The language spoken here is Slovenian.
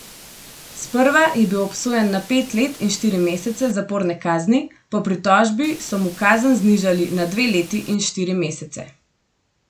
Sprva je bil obsojen na pet let in štiri mesece zaporne kazni, po pritožbi so mu kazen znižali na dve leti in štiri mesece.